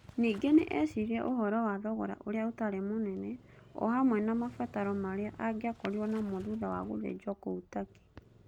Ningĩ nĩ eeciririe ũhoro wa thogora ũrĩa ũtarĩ mũnene o hamwe na mabataro marĩa angĩakorirũo namo thutha wa gũthĩnjwo kũu Turkey.